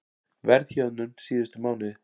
Verðhjöðnun síðustu mánuði